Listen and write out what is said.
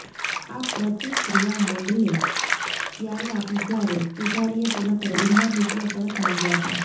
આ પ્રતિક્રિયા મોડલે ત્યારે આપી જ્યારે પૂજારીએ તેના પર ઉધાર રૂપિયા પરત માગ્યા હતા